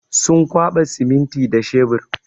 Sun kwaɓa siminti da shebur.